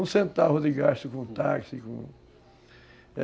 Um centavo de gasto com com táxi.